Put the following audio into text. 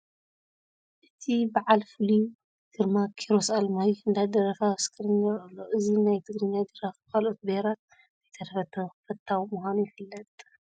እቲ በዓል ፍሉይ ግርማ ኪሮስ ኣለማዮህ እንዳደረፈ ኣብ ስክሪን ይርአ ኣሎ፡፡ እዚ ናይ ትግርኛ ደራፊ ብኻልኦት ብሄራት እንተይተረፈ ተፈታዊ ምዃኑ ትፈልጡ ዶ?